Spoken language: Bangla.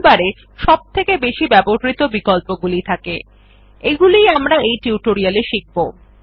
টুলবার এ সবথেকে বেশি ব্যবহৃত বিকল্পগুলি থাকে এগুলি আমরা এই টিউটোরিয়াল এ শিখব